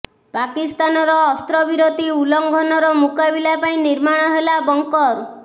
ପାକିସ୍ତାନର ଅସ୍ତ୍ରବିରତୀ ଉଲ୍ଲଙ୍ଘନର ମୁକାବିଲା ପାଇଁ ନିର୍ମାଣ ହେଲା ବଙ୍କର